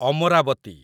Amravati